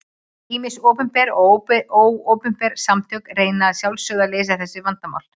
Ýmis opinber og óopinber samtök reyna að sjálfsögðu að leysa þessu vandamál.